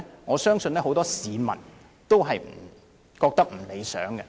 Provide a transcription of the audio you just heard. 我相信很多市民均認為不大理想。